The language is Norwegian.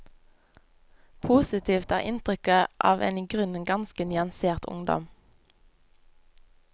Positivt er inntrykket av en i grunnen ganske nyansert ungdom.